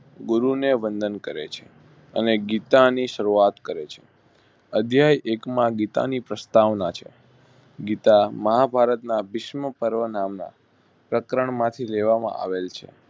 ગુરુને વંદન કરે છે. અને ગીતાની સરૂ આત કરે છે. અધ્યેય એક માં ગીતાની પ્રસ્તાવ ના છે ગીતા મહા ભારત ભીષ્મ પર્વ નાના પ્રકરણ માંથી લેવામાં આવેલ છે.